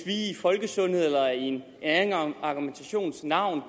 i folkesundhedens eller en anden argumentations navn